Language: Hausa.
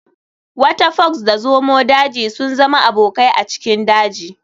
Wata fox da zomo daji sun zama abokai a cikin daji.